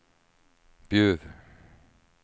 Bjuv